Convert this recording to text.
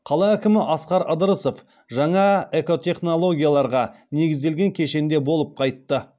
қала әкімі асқар ыдырысов жаңа экотехнологияларға негізделген кешенде болып қайтты